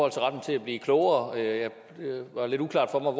retten til at blive klogere det var lidt uklart for mig